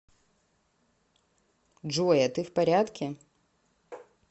джой а ты в порядке